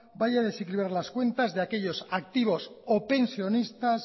vaya a desequilibrar las cuentas de aquellos activos o pensionistas